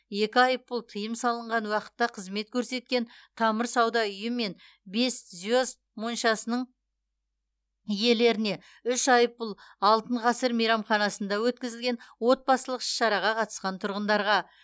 екі айыппұл тыйым салынған уақытта қызмет көрсеткен тамыр сауда үйі мен бес звезд моншасының иелеріне үш айыппұл алтын ғасыр мейрамханасында өткізілген отбасылық іс шараға қатысқан тұрғындарға